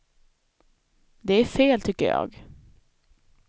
Det är fel, tycker jag.